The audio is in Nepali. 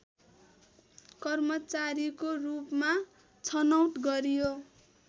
कर्मचारीको रूपमा छनौट गरियो